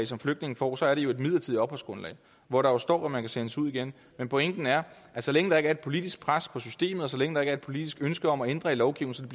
som flygtninge får så er det jo et midlertidigt opholdsgrundlag hvor der står at man kan sendes ud igen men pointen er at så længe der ikke er politisk pres på systemet og så længe der ikke er et politisk ønske om at ændre lovgivningen